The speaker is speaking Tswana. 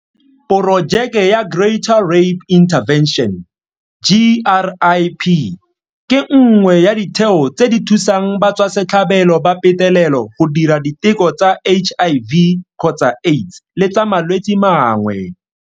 Porojeke ya Greater Rape Intervention GRIP ke nngwe ya ditheo tse di thusang batswasetlhabelo ba petelelo go dira diteko tsa HIV gotsa Aids le tsa malwetse mangwe.